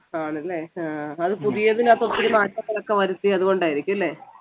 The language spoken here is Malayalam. ആണല്ലേ ആഹ് അത് പുതിയതിനപ്പം ഒത്തിരി മാറ്റങ്ങൾ ഒക്കെ വരുത്തി അതുകൊണ്ടായിരിക്കു അല്ലേ